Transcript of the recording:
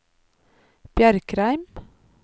Bjerkreim